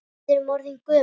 Við erum orðin gömul.